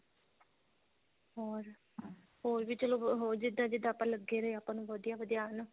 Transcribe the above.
ਹੋਰ ਹੋਰ ਵੀ ਚਲੋ ਅਹ ਜਿੱਦਾਂ ਜਿੱਦਾਂ ਆਪਾਂ ਲੱਗੇ ਰਹੇ ਆਪਾਂ ਨੂੰ ਵਧੀਆ ਵਧੀਆ ਆਨ